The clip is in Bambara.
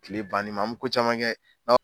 kile bannin ma an mi ko caman kɛ